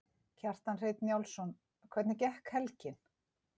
Kjartan Hreinn Njálsson: Hvernig gekk helgin?